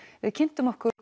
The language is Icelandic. við kynntum okkur